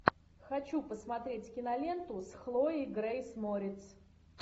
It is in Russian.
хочу посмотреть киноленту с хлоей грейс морец